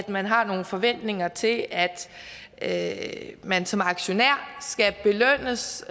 man har nogle forventninger til at at man som aktionær skal belønnes